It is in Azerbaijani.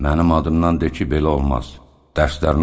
Mənim adımdan de ki, belə olmaz, dərslərini oxusun.